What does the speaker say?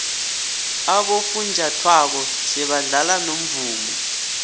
abofunjathwako sebadlala nomvumo